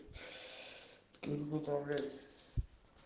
перепутал блять